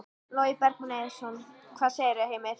Logi Bergmann Eiðsson: Hvað segirðu, Heimir?